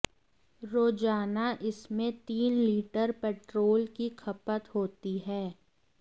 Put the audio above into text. रोजाना इसमें तीन लीटर पेट्रोल की खपत होती है